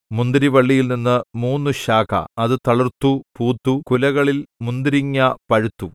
മുന്തിരിവള്ളിയിൽ മൂന്നു ശാഖ അത് തളിർത്തു പൂത്തു കുലകളിൽ മുന്തിരിങ്ങാ പഴുത്തു